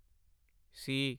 ਸੀ